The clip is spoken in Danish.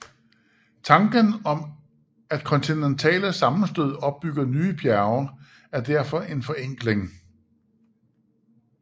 Tanken om at kontinentale sammenstød opbygger bjerge er derfor en forenkling